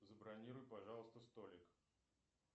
забронируй пожалуйста столик